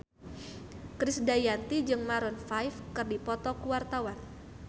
Krisdayanti jeung Maroon 5 keur dipoto ku wartawan